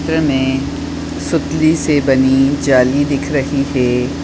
इस चित्र मे सुतली से बनी जाली दिख रही है।